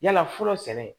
Yala fɔlɔ sɛnɛ